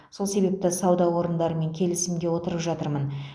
сол себепті сауда орындарымен келісімге отырып жатырмын